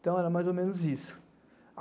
Então era mais ou menos isso.